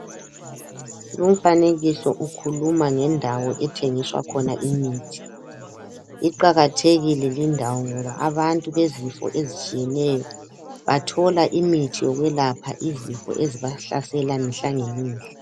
Lumfanekiso ukhuluma ngendawo ethengiswa khona imithi, iqakathekile lindawo ngoba abantu bezifo ezitshiyeneyo bathola imithi yokwelapha izifo ezibahlasela mihlangemihla.